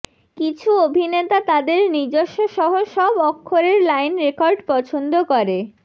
কিছু অভিনেতা তাদের নিজস্ব সহ সব অক্ষরের লাইন রেকর্ড পছন্দ করে